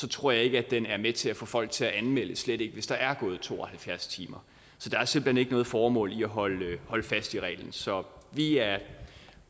tror jeg ikke at den er med til at få folk til at anmelde slet ikke hvis der er gået to og halvfjerds timer så der er simpelt hen ikke noget formål i at holde fast i reglen så vi er